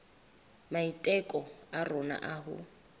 maiteko a rona a ho